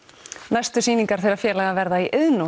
næstu sýningar þeirra félaga verða í Iðnó